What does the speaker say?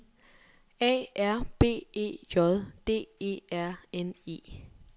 A R B E J D E R N E